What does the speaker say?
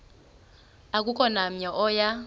akukho namnye oya